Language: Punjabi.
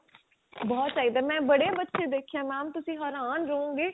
ਬਹੁਤ ਚਾਹਿਦਾ ਮੈਂ ਬੜੇ ਬੱਚੇ ਦੇਖੇ ਏ mam ਤੁਸੀਂ ਹਰਾਨ ਰਹੋ ਗਏ